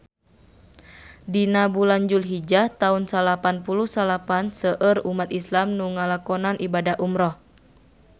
Dina bulan Julhijah taun salapan puluh salapan seueur umat islam nu ngalakonan ibadah umrah